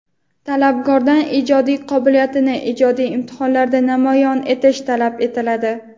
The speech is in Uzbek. Talabgordan ijodiy qobiliyatini ijodiy imtihonlarda namoyon etishi talab etiladi.